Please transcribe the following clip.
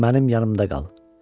Mənim yanımda qal.